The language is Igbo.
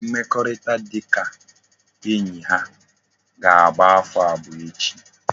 Mmekorita dika enyi ha ka agba afo abuo echi